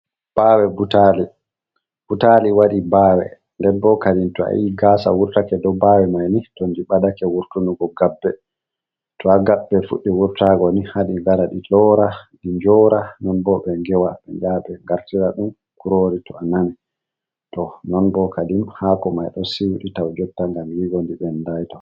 Bawe butali butali waɗi bawe den bo kanjum to ayi gasa wurtake ɗo bawe mai ni, to nyi'e badake wurtun ngo gabbe, to ha gabbe fuɗdi wurtago ni hadi ngaa di loora ɗi njora non bo ɓe ngewa ɓe ɓge be gartira ɗum kurori to anami to non bo kadi hako mai ɗo siwidita jotta ngam yigo ndi ɓendai ton.